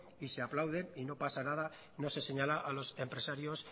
y se aplauden y no pasa nada no se señala a los empresarios